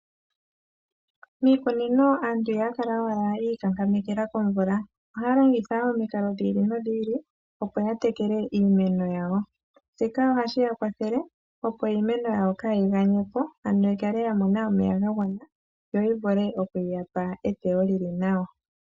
Miikunino aantu ihaya kala owala yiikankamekela komvula ohaya longitha wo omikalo dhi ili nodhi ili, opo ya tekele iimeno yawo, shika ohashi ya kwathele opo iimeno yawo kaayiganyepo ano yikale yamona omeya gagwana, yoyi vule okuyapa eteyo lili nawa